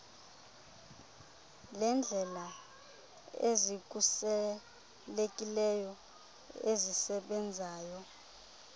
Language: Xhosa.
leendlela ezikhuselekileyo ezisebenzayo